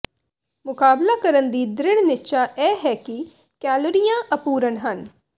ਮੁਕਾਬਲਾ ਕਰਨ ਦੀ ਦ੍ਰਿੜ ਨਿਸ਼ਚਾ ਇਹ ਹੈ ਕਿ ਕੈਲੋਰੀਆਂ ਅਪੂਰਣ ਹਨ